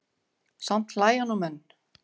Samt hlæja nú menn.